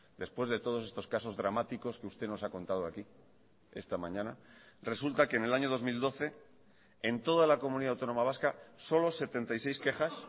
después de todos estos casos dramáticos que usted nos ha contado aquí esta mañana resulta que en el año dos mil doce en toda la comunidad autónoma vasca solo setenta y seis quejas